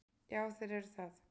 Já, þeir eru það.